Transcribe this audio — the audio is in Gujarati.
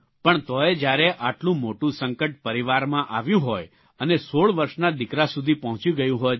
પણ તો ય જયારે આટલું મોટું સંકટ પરિવારમાં આવ્યું હોય અને ૧૬ વર્ષના દિકરા સુધી પહોંચી ગયું હોય ત્યારે